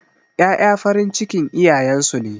Ƴaƴa farin cikin iyayen su ne.